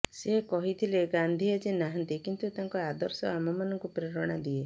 ସେ କହିଥିଲେ ଗାନ୍ଧୀ ଆଜି ନାହାନ୍ତି କିନ୍ତୁ ତାଙ୍କ ଆଦର୍ଶ ଆମ ମାନଙ୍କୁ ପ୍ରେରଣା ଦିଏ